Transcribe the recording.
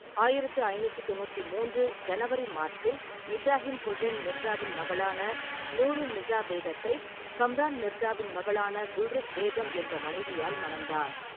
ஆயிரத்து ஐநூட்று தொண்ணூற்றி மூன்று ஜனவரி/மார்ச்சில் இப்ராஹிம் ஹுசைன் மிர்சாவின் மகளான நூர் உன்-நிசா பேகத்தை கம்ரான் மிர்சாவின் மகளான குல்ருக் பேகம் என்ற மனைவியால் மணந்தார்.